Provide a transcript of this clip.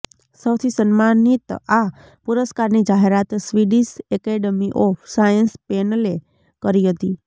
સૌથી સન્માનિત આ પુરસ્કારની જાહેરાત સ્વિડિશ એકેડમી ઓફ સાયન્સ પેનલે કરી હતી